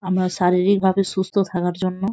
আমরা শারীরিক ভাবে সুস্থ থাকার জন্য।